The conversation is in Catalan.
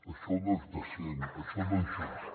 això no és decent això no és just